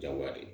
Jagoya de